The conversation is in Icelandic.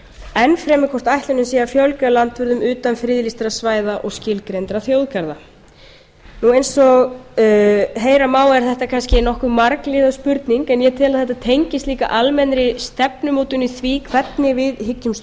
enn fremur hvort ætlunin sé að fjölga landvörðum utan friðlýstra svæða og skilgreindra þjóðgarða eins og heyra má er þetta kannski nokkuð margliðuð spurning en ég tel að þetta tengist líka almennri stefnumótun í því hvernig við hyggjumst haga